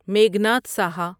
Meghnad Saha